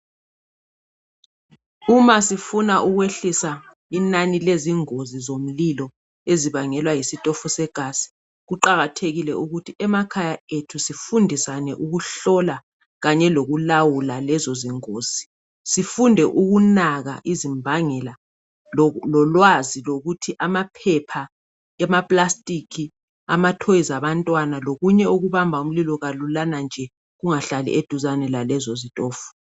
Uma sifuna ukwehlisa inani lezingozi zomlilo ezibangelwa yisitofu segasi kuqakathekile ukuthi emakhaya ethu sifundisane ukuhlola khanye lokulawula lezo zingozi. Sifunde ukunaka izimbangela lolwazi lokuthi amaphepha emapulasitiki amatoyizi abantwana lokunye okubamba umlilo kalulana nje kungahlali eduzane lalezo zitofu.